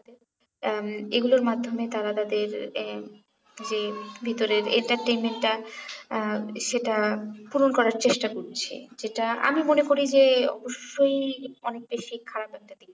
উম এগুলোর মাধ্যমে তারা তাদের এই যে ভিতরের entertainment টা আহ সেটা পূরণ করার চেষ্টা করছে যেটা আমি মনে করি যে অব্যশই অনেকটাই সেই খারাপ একটা দিক